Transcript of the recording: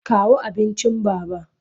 Kawo abincin Baba!